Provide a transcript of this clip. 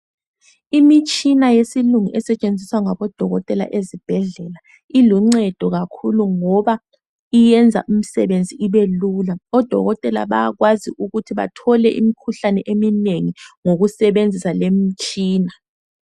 Imitshina yesilungu esetshenziswa ngabodokotela ezibhedlela, iluncedo kakhulu ngoba iyenza imisebenzi ibelula. Odokotela bayakwazi ukuthi bathole imkhuhlane eminengi ngokusebenzisa le mitshina.